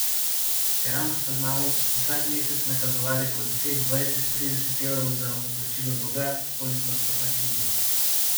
Čeravno sva z mamo vsak mesec nakazovali po deset, dvajset, trideset evrov za odplačilo dolga, kolikor sva pač imeli.